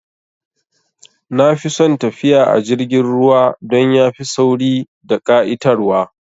Nafi son tafiya a jirgin ruwa dan yafi sauri da ƙa'itar wa